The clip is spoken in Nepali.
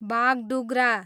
बाघडुग्रा